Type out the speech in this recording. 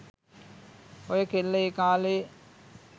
ඔය කෙල්ල ඒ කාලෙ